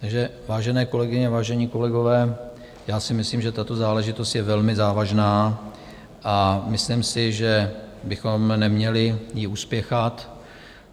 Takže vážené kolegyně, vážení kolegové, já si myslím, že tato záležitost je velmi závažná, a myslím si, že bychom ji neměli uspěchat.